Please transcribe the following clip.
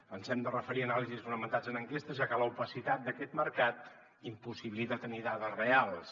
ens hem de referir a anàlisis fonamentades en enquestes ja que l’opacitat d’aquest mercat impossibilita tenir dades reals